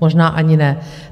Možná ani ne.